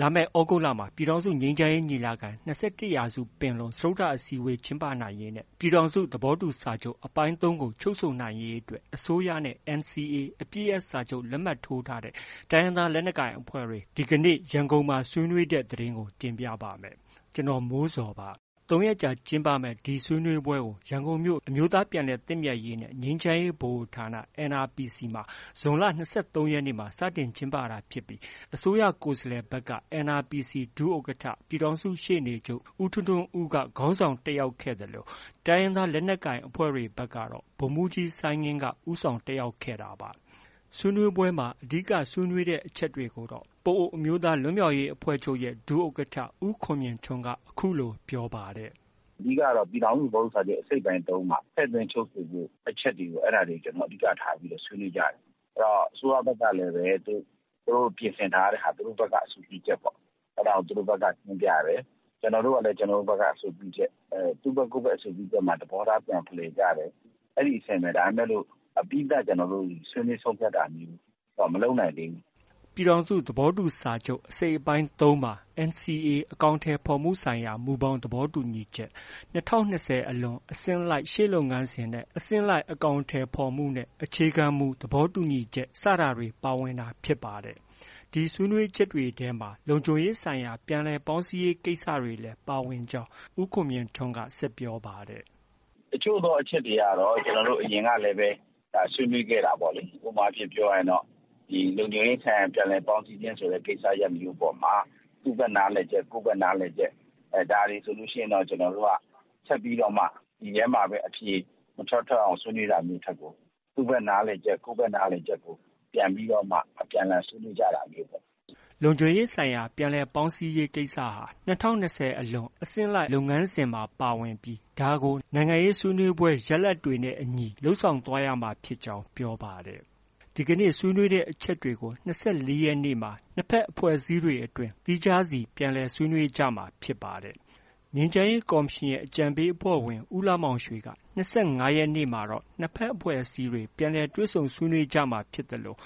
လာမယ့် သြဂုတ်လမှာ ပြည်ထောင်စုငြိမ်းချမ်းရေးညီလာခံ- ၂၁ရာစုပင်လုံစတုတ္ထအစည်းအဝေး ကျင်းပနိုင်ရေးနဲ့ ပြည်ထောင်စုသဘောတူစာချုပ် အပိုင်း၃ကို ချုပ်ဆိုနိုင်ရေး အတွက် အစိုးရနဲ့ NCA အပစ်ရပ်စာချုပ် လက်မှတ်ထိုးထားတဲ့ တိုင်းရင်းသားလက်နက်ကိုင်အဖွဲ့တွေ ဇွန်လ ၂၃ ရက် အင်္ဂါနေ့က ရန်ကုန်မှာ ဆွေးနွေးခဲ့ကြပါတယ်။ ဗွီအိုအေ မြန်မာပိုင်း သတင်းထောက် ကိုမိုးဇော် က သတင်းပေးပို့ထားပါတယ်။ ၃ရက်ကြာကျင်းပမယ့် ဒီဆွေးနွေးပွဲကို ရန်ကုန်မြို့ အမျိုးသားပြန်လည်သင့်မြတ်ရေးနဲ့ ငြိမ်းချမ်းရေးဗဟိုဌာန NRPC မှာ ဇွန်လ ၂၃ရက်နေ့မှာ စတင်ကျင်းပတာဖြစ်ပြီး အစိုးရကိုယ်စားလှယ်ဘက်က NRPC ဒုဥက္ကဌ ပြည်ထောင်စုရှေ့နေချုပ် ဦးထွန်းထွန်းဦးက ဦးဆောင်တက်ခဲ့သလို တိုင်းရင်းသားလက်နက်ကိုင်ဘက်ကတော့ ဗိုလ်မှူးကြီး စိုင်းငင်း ဦးဆောင် တက်ရောက်ခဲ့ကြတာပါ။ ဆွေးနွေးပွဲမှာ အဓိက ဆွေးနွေးတဲ့အချက်တွေကိုတော့ ပအိုဝ်းအမျိုးသားလွတ်မြောက်ရေးအဖွဲ့ချုပ် ဒုဥက္ကဌ ဦးခွန်မြင့်ထွန်းက အခုလို ပြောပါတယ်။ “ အဓိကကတော့ ပြည်ထောင်စုသဘောတူစာချုပ် အစိတ်အပိုင်း ၃ မှာ ထည့်သွင်းချုပ်ဆိုဖို့ အချက်တွေကို ကျနော်တို့ အဓိက ထားဆွေးနွေးကြတာ။ အစိုးရဘက်ကလည်း သူတို့ ပြင်ဆင်ထားတဲ့ဟာ သူတို့ အဆိုပြုချက်ပေါ့။ အဲဒါကို သူတို့ဘက်က တင်ပြတယ်။ ကျနော်တို့ကလည်း ကျနော်တို့ဘက်က အဆိုပြုချက်။ သူ့ဘက်က ကိုယ်ဘက် အဆိုပြုချက်မှာ သဘောထားပြန်ဖလှယ်ကြတယ်။ အဲဒီအဆင့်ပဲ ဒါပေမဲ့ အပြီးသတ် ကျနော်တို့ ဆွေးနွေးဆုံးဖြတ်တာမျိုးတော့ မလုပ်နိုင်သေးဘူး။” ပြည်ထောင်စုသဘောတူစာချုပ် အစိတ်အပိုင်း ၃မှာ NCA အကောင်အထည်ဖော်မှုဆိုင်ရာ မူဘောင် သဘောတူညီချက်၊ ၂၀၂၀ အလွန် အဆင့်လိုက် ရှေ့လုပ်ငန်းစဉ်နဲ့ အဆင့်လိုက် အကောင်အထည်ဖော်မှုနဲ့ အခြေခံမူ သဘောတူညီချက် စတဲ့အချက်တွေ ပါဝင်တာဖြစ်ပါတယ်။ ဒီဆွေးနွေးချက်တွေထဲမှာ လုံခြုံရေးဆိုင်ရာ ပြန်လည်ပေါင်းစည်းရေးကိစ္စရပ်တွေလည်း ပါဝင်ကြောင်း ဦးခွန်မြင့်ထွန်းက ဆက်ပြောပါတယ်။ “ တချို့သော အချက်တွေကတော့ အရင်ကလည်း ဆွေးနွေးခဲ့တာပေါ့။ ဥပမာ ပြောရရင်တော့ လုံခြုံရေးဆိုင်ရာ ပြန်လည်ပေါင်းစည်းခြင်းဆိုတဲ့ ကိစ္စရပ်မျိုးအပေါ်မှာ သူ့ဘက် နားလည်ချက် ကိုယ့်ဘက် နားလည်ချက် ဒါတွေဆိုရင်တော့ ကျနော်တို့က ဆက်ပြီးတော့မှ ဒီထဲမှာပဲ အဖြေမထွက် ထွက်အောင် ဆွေးနွေးတာမျိုး ထက်ကို သူ့ဘက်နားလည်ချက် ကိုယ်ဘက်နားလည်ချက်ကို ပြန်ပြီးတော့မှ အပြန်အလှန် ဆွေးနွေးကြတာမျိုးပေါ့။” လုံခြုံရေးဆိုင်ရာ ပြန်လည်ပေါင်းစည်းမှုဟာ ၂၀၂၀အလွန် အစဉ်လိုက်လုပ်ငန်းစဉ်မှာ ပါဝင်ပြီး ဒါကို နိုင်ငံရေးဆွေးနွေးပွဲ ရလဒ်တွေနဲ့ အညီ လုပ်ဆောင်သွားရမှာဖြစ်ကြောင်း ပြောပါတယ်။ ဒီကနေ့ ဆွေးနွေးတဲ့အချက်တွေကို ၂၄ရက်နေ့မှာ နှစ်ဘက်အဖွဲ့အစည်းတွေအတွင်း သီးခြားစီ ပြန်လည်ဆွေး နွေးကြမှာဖြစ်ပါတယ်။ ငြိမ်းချမ်းရေးကော်မရှင်ရဲ့အကြံပေးအဖွဲ့ဝင် ဦးလှမောင်ရွှေက ၂၅ရက်နေ့မှာတော့ ၂ဘက်အဖွဲ့အစည်းတွေ ပြန်လည်တွေ့ဆုံဆွေးနွေးမှာဖြစ်သလို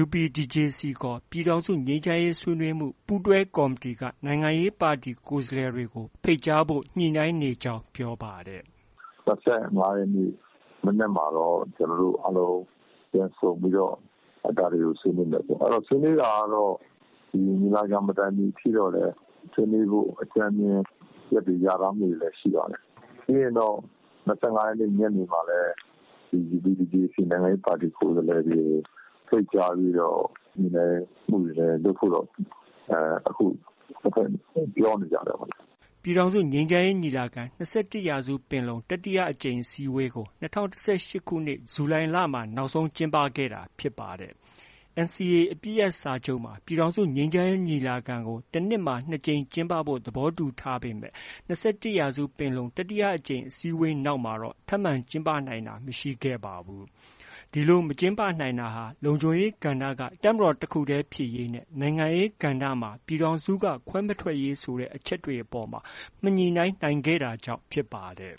UPDJC ခေါ် ပြည်ထောင်စုငြိမ်းချမ်းရေးဆွေးနွေးမှု ပူးတွဲကော်မတီ နိုင်ငံရေးပါတီက ကိုယ်စားလှယ်တွေကို ဖိတ်ကြားဖို့ ညှိနှိုင်းနေကြောင်း ပြောပါတယ်။ “၂၅ရက်နေ့ မနက်မှာတော့ ကျနော်တို့ အားလုံး ပြန်ဆုံပြီးတော့ အဲဒါတွေကို ဆွေးနွေးမယ်။ အဲတော့ ဆွေးနွေးတာကတော့ ညီလာခံ မတိုင်ခင်အထိတော့လည်း ဆွေးနွေးဖို့ အကြမ်းဖျဉ်း အချက်တွေ လျာထားမှုတွေတော့ ရှိပါတယ်။ ပြီးရင်တော့ ၂၅ရက်နေ့ ညနေမှာလည်း UPDJC နိုင်ငံရေးပါတီ ကိုယ်စားလှယ်တွေကို ဖိတ်ကြားပြီးတော့ ညှိနှိုင်းမှုတွေ လုပ်ဖို့တော့ အခု ၂ဘက် ပြောနေကြတယ်ပေါ့လေ။” ပြည်ထောင်စုငြိမ်းချမ်းရေးညီလာခံ- ၂၁ရာစုပင်လုံ တတိယအကြိမ်အစည်းအဝေးကို ၂၀၁၈ခုနှစ် ဇူလိုင်လမှာ နောက်ဆုံး ကျင်းပခဲ့တာဖြစ်ပါတယ်။ NCA အပစ်ရပ်စာချုပ်မှာ ပြည်ထောင်စုငြိမ်းချမ်းရေး ညီလာခံကို တစ်နှစ်မှာ နှစ်ကြိမ် ကျင်းပဖို့ သဘောတူထားပေမယ့် ၂၁ရာစုပင်လုံ တတိယအကြိမ်အစည်းအဝေးနောက်မှာ ထပ်မံ ကျင်းပနိုင်တာ မရှိခဲ့ပါဘူး။ ဒီလို မကျင်းပနိုင်တာ လုံခြုံရေးကဏ္ဍက တပ်မတော်တစ်ခုတည်းဖြစ်ရေးနဲ့ နိုင်ငံရေးကဏ္ဍမှာ ပြည်ထောင်စုက ခွဲမထွက်ရေးဆိုတဲ့ အချက်တွေအပေါ်မှာ မညှိနှိုင်းနိုင်ခဲ့တာကြောင့် ဖြစ်ပါတယ်။